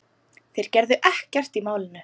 Þeir gerðu ekkert í málinu.